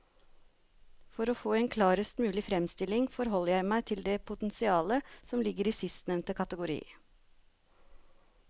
For å få en klarest mulig fremstilling forholder jeg meg til det potensialet som ligger i sistnevnte kategori.